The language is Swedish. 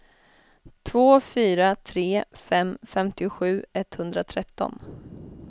två fyra tre fem femtiosju etthundratretton